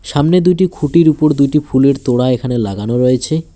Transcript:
সামনে দুইটি খুটির উপর দুইটি ফুলের তোড়া এখানে লাগানো রয়েছে।